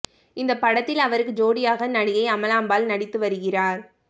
இந்த படத்தில் அவருக்கு ஜோடியாக நடிகை அமலாபால் நடித்து வருகிறார்